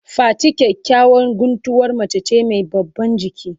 Fati kyakyawan guntuwar mace ce mai babban giki.